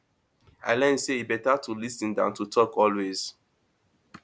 i learn say e better to lis ten than to talk always